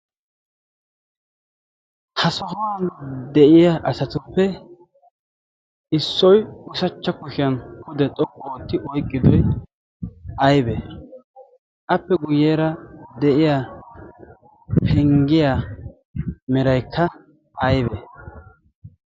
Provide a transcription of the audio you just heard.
ha sohuwan de7iya asatuppe issoi usachcha kushiyan kude xoqqu ootti oiqqidoi aibe? appe guyyeera de7iya penggiyaa meraikka aibe?